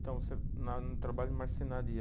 Então você, na no trabalho de marcenaria.